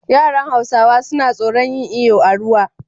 Yaran hausawa suna tsoran yin iyo a ruwa